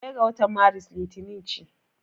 Ɗaya ga watan Maris Litinin ce.